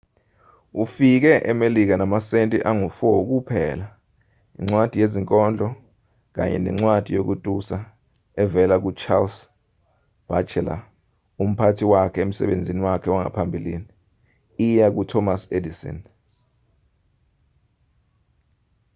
ufike emelika enamasenti angu-4 kuphela incwadi yezinkondlo kanye nencwadi yokutusa evela ku-charles batchelor umphathi wakhe wasemsebenzini wakhe wangaphambili iya kuthomas edison